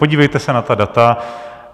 Podívejte se na ta data.